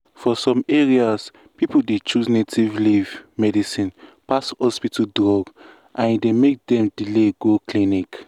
for some areas people dey choose native leaf medicine pass hospital drug and e dey make dem delay go clinic.